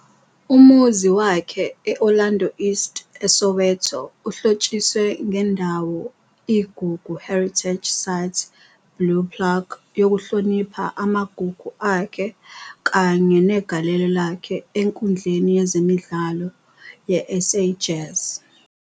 Umuzi wakhe e-Orlando East, eSoweto uhlotshiswe ngendawo iGugu Heritage Site Blue Plaque yokuhlonipha amagugu akhe kanye negalelo lakhe enkundleni yezemidlalo yeSA jazz.